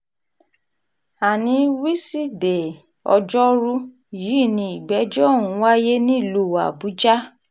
ana wíṣídẹ̀ẹ́ ọjọ́rùú yìí ni ìgbẹ́jọ́ ọ̀hún wáyé nílùú àbújá